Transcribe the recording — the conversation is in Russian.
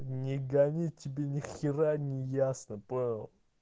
не гони тебе нехера не ясно понял